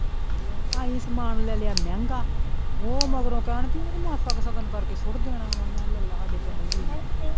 ਅਸੀਂ ਸਮਾਨ ਲੈ ਲਿਆ ਮਹਿੰਗਾ ਉਹ ਮਗਰੋਂ ਕਹਿਣ ਬਈ ਮਾਸਾ ਕ ਸਗਨ ਕਰਕੇ ਸੁੱਟ ਦੇਣਾ ਵਾ ਮੈਂ ਕਿਹਾ ਲੈ ਲਾ ਸਾਡੇ ਪੈਸੇ ਵੀ ਏਨੇ।